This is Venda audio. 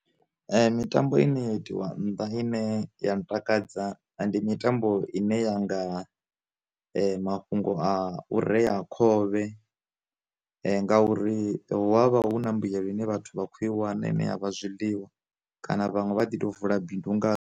Mitambo ine ya itiwa nnḓa ine ya ntakadza, ndi mitambo ine yanga mafhungo a u rea khovhe, nga uri havha hu na mbuyelo ine vhathu vha khou i wana ine ya vha zwiḽiwa kana vhanwe vha ḓo vula bindu nga.